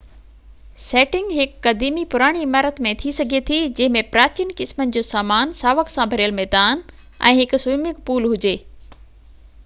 setting هڪ قديمي پراڻي عمارت ۾ ٿي سگهي ٿي جنهن ۾ پراچين قسمن جو سامان ساوڪ سان ڀريل ميدان ۽ هڪ سوئمنگ پول هجي